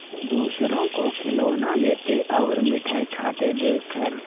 दूसरों को खिलौना लेते और मिठाई खाते देखकर